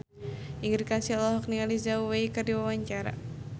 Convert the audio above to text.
Ingrid Kansil olohok ningali Zhao Wei keur diwawancara